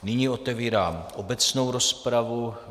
Nyní otevírám obecnou rozpravu.